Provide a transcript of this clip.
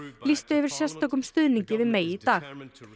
lýstu yfir sérstökum stuðningi við May í dag